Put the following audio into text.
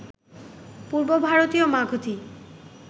পূর্ব ভারতীয় মাগধী